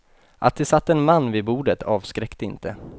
Att det satt en man vid bordet avskräckte inte.